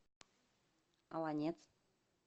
олонец